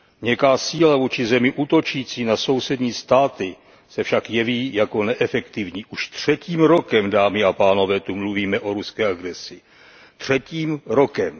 Měkká síla vůči zemi útočící na sousední státy se však jeví jako neefektivní. U třetím rokem, dámy a pánové, tu mluvíme o ruské agresi, třetím rokem.